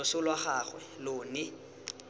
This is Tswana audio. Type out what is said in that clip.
loso lwa gagwe lo ne